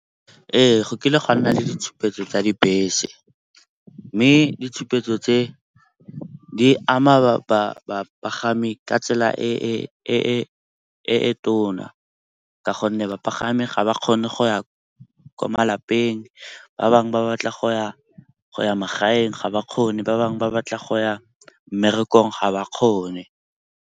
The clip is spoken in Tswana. Ee, go kile go a nna le ditshupetso tsa dibese mme ditshupetso tse di ama bapagami ka tsela e tona ka gonne bapagami ga ba kgone go ya kwa malapeng. Ba bangwe ba batla go ya magaeng ga ba kgone, ba bangwe ba batla go ya mmerekong ga ba kgone.